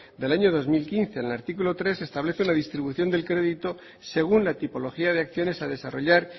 del año dos mil quince en el artículo tres se establece una distribución del crédito según la tipología de acciones a desarrollar